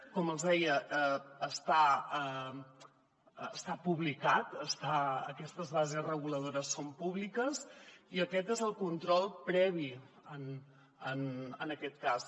com els deia està publicat aquestes bases reguladores són públiques i aquest és el control previ en aquest cas